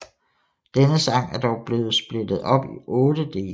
Denne sang er dog blevet splittet op i otte dele